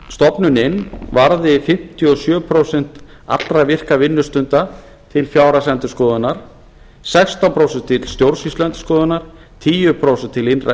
stofnunin varði fimmtíu og sjö prósent allra virkra vinnustunda til fjárhagsendurskoðunar sextán prósent til stjórnsýsluendurskoðunar tíu prósent til innra